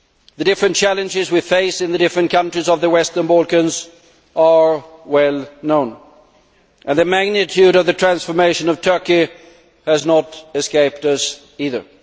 The different challenges we face in the different countries of the western Balkans are well known, and the magnitude of the transformation of Turkey has not escaped us either.